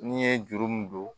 N'i ye juru min don